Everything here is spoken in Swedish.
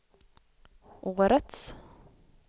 årets